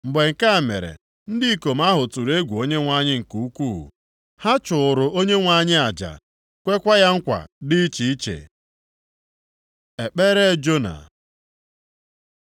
Mgbe nke a mere ndị ikom ahụ tụrụ egwu Onyenwe anyị nke ukwuu. Ha chụụrụ Onyenwe anyị aja, kwekwa ya nkwa dị iche iche. Ekpere Jona